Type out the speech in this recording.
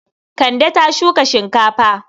Kande ta shuka shinkafa.